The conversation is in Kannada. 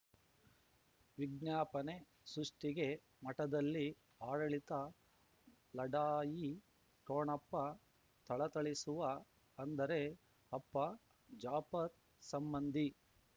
ವಿಜ್ಞಾಪನೆ ಸೃಷ್ಟಿಗೆ ಮಠದಲ್ಲಿ ಆಡಳಿತ ಲಢಾಯಿ ಠೊಣಪ ಥಳಥಳಿಸುವ ಅಂದರೆ ಅಪ್ಪ ಜಾಪರ್ ಸಂಬಂಧಿ